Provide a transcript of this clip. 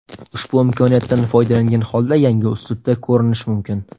Ushbu imkoniyatdan foydalangan holda yangi uslubda ko‘rinish mumkin.